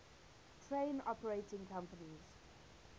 train operating companies